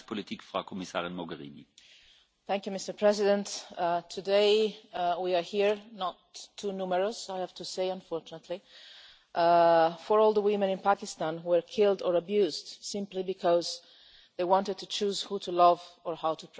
Mr President, today we are here not too numerous I have to say, unfortunately for all the women in Pakistan killed or abused simply because they wanted to choose who to love or how to pray.